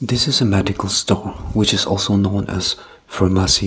this is a medical store which is also known has pharmacy.